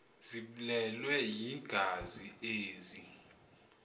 ziblelwe yingazi ezi